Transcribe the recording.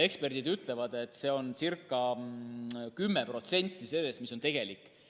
Eksperdid ütlevad, et see on umbes 10% sellest, mis tegelikult on.